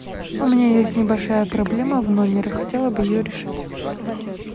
у меня есть небольшая проблема в номере хотела бы ее решить